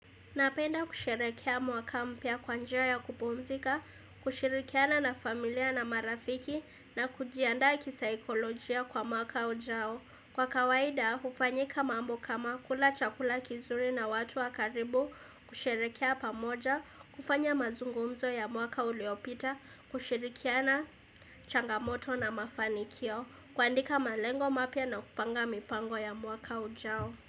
Napenda kusherekea mwaka mpya kwa njia ya kupumzika, kushirikiana na familia na marafiki na kujianda kisaikolojia kwa mwaka ujao. Kwa kawaida, hufanyika mambo kama kula chakula kizuri na watu wa karibu, kusherekea pamoja, kufanya mazungumzo ya mwaka uliopita, kushirikiana changamoto na mafanikio, kuandika malengo mapya na kupanga mipango ya mwaka ujao.